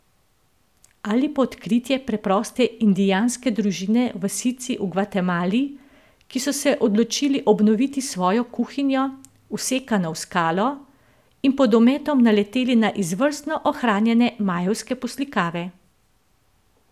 Ali pa odkritje preproste indijanske družine v vasici v Gvatemali, ki so se odločili obnoviti svojo kuhinjo, vsekano v skalo, in pod ometom naleteli na izvrstno ohranjene majevske poslikave.